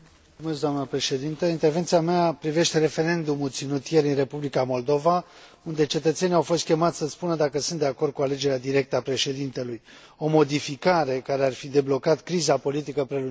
Intervenția mea privește referendumul ținut ieri în Republica Moldova, unde cetățenii au fost chemați să spună dacă sunt de acord cu alegerea directă a președintelui, o modificare care ar fi deblocat criza politică prelungită de la Chișinău.